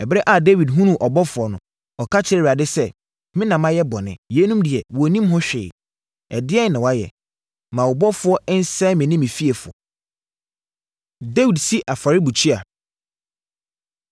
Ɛberɛ a Dawid hunuu ɔbɔfoɔ no, ɔka kyerɛɛ Awurade sɛ, “Me na mayɛ bɔne. Yeinom deɛ wɔnnim ho hwee, ɛdeɛn na wɔayɛ? Ma wo ɔbɔfoɔ nsɛe me ne me fiefoɔ.” Dawid Si Afɔrebukyia